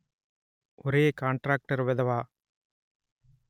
ఒరే కాంట్రాక్టర్ వెధవా